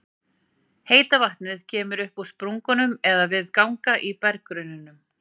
Heita vatnið kemur upp í sprungum eða við ganga í berggrunninum.